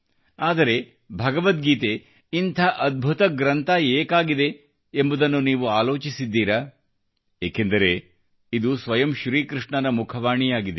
ಆದರೆ ಭಗವದ್ಗೀತೆ ಇಂಥ ಅದ್ಭುತ ಗ್ರಂಥ ಯಾಕಾಗಿದೆ ಎಂಬುದನ್ನು ನೀವು ಆಲೋಚಿಸಿದ್ದೀರಾ ಏಕೆಂದರೆ ಇದು ಸ್ವಯಂ ಶ್ರೀ ಕೃಷ್ಣನ ಮುಖವಾಣಿಯಾಗಿದೆ